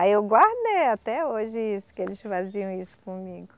Aí eu guardei até hoje isso, que eles faziam isso comigo.